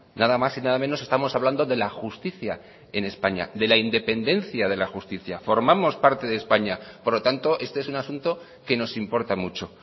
nada más y nada menos estamos hablando de la justicia en españa de la independencia de la justicia formamos parte de españa por lo tanto este es un asunto que nos importa mucho